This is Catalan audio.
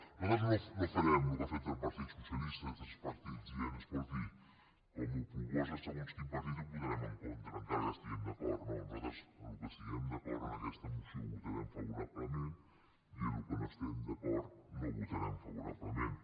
nosaltres no farem el que ha fet el partit socialista i altres partits dient escolti com que ho proposa segons quin partit hi votarem en contra encara que hi estiguem d’acord no nosaltres en el que estiguem d’acord d’aquesta mo·ció hi votarem favorablement i en el que no hi esti·guem d’acord no hi votarem favorablement